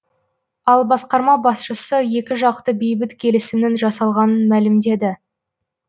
ал басқарама басшысы екі жақты бейбіт келісімнің жасалғанын мәлімдеді